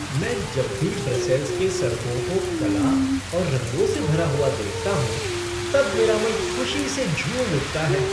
मैं जब भी ब्रसेल्स के सड़कों को कला और रंगों से भरा हुआ देखता हूँ तब मेरा मन ख़ुशी से झूम उठता है।